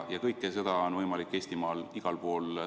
Kõik see on võimalik Eestimaal igal pool.